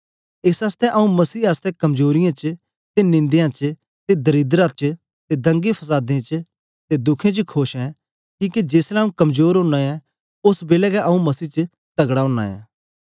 एस आसतै आंऊँ मसीह आसतै कमजोरीयें च ते निंदें च ते दरिद्रता च ते दंगे फसादें च ते दुखें च खोश ऐं किके जेसलै आंऊँ कमजोर ओना ऐ ओस बेलै गै आंऊँ मसीह च तगड़ा ओना ऐ